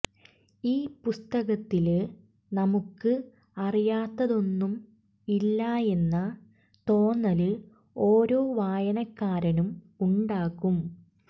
ഈ പുസ്തകത്തില് നമുക്ക് അറിയാത്തതൊന്നും ഇല്ലായെന്ന തോന്നല് ഓരോ വായനക്കാരനും ഉണ്ടാകും